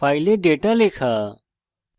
file data লেখা